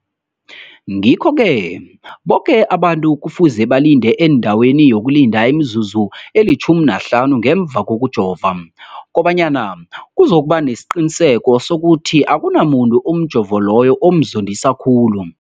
Ngikho-ke boke abantu kufuze balinde endaweni yokulinda imizuzu eli-15 ngemva kokujova, koba nyana kuzokuba nesiqiniseko sokuthi akunamuntu umjovo loyo omzondisa khulu.